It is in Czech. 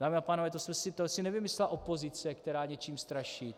Dámy a pánové, to si nevymyslela opozice, která něčím straší.